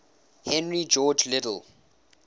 henry george liddell